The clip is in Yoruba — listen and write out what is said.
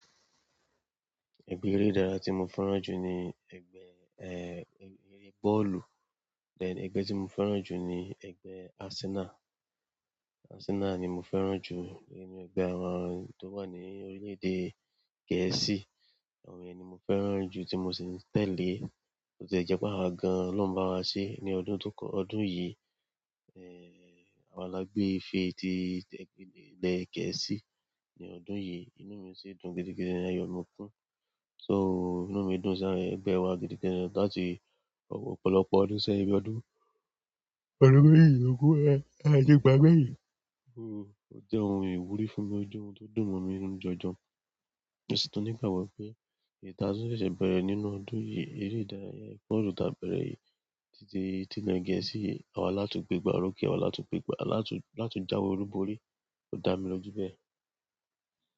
Ẹgbẹ́ eré ìdára tí mo fẹ́ràn jù ni ẹgbẹ́, ẹ, ẹgbẹ́ bọ́ọ̀lù. Ẹgbẹ́ tí mo fẹ́ràn jù ni ẹgbẹ́ Arsenal. Arsenal ni mo fẹ́ràn jù nínú ẹgbẹ́ àwọn tó wà ní orílẹ̀-èdè Gẹ̀ẹ́sì. Àwọn èyí ni mo fẹ́ràn jù tí mo sì ń tẹ̀lé. Ó ti jẹ́ pé a gan-an Ọlọ́run bá wa ṣe ní ọdún tó kọ. Ọdún yìí, ẹ, àwa la gbé ìfẹ́ ti tẹ̀kẹ́kẹ́ lè kẹ́ẹ̀sì ní ọdún yìí. Inú mi sì dùn gidigidi ní ayọ̀ mi kún. So inú mi dùn sí àwọn ẹgbẹ́ wa gidigidi láti ọ̀pọ̀lọpọ̀ ọdún sẹ́yìn bí ọdún kọ́ yìí, ogún ẹ, láti ìgbà mẹ́yìn. Ó jẹ́ ohun ìwúrí fún mi ọdún tó dùn mọ́ mi ni jọjọ. Èsì tó ní ìpàwọ̀ pé ìtàn tí yóò ṣẹṣẹ bẹ̀rẹ̀ nínú ọdún yìí, eré ìdárayá bọ́ọ̀lù tó bẹ̀rẹ̀ yìí títí tílẹ̀ Gẹ̀ẹ́sì àwa làtun gbé gbá orókè, àwa làtun gbé gbá, àwa làtun jáwọ́ olúborí ó dá mi lójú bẹ.